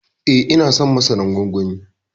Eh ina son masaran gwangwani.